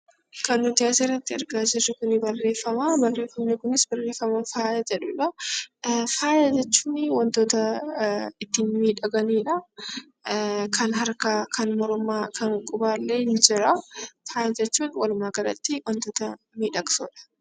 Faaya jechuun wantoota ittiin miidhaganidha. Kan harkaa, kan mormaa, kan qubaa illee ni jira. Faaya jechuun walumaa galatti wantoota miidhagsuudha.